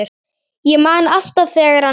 Ég man alltaf þegar hann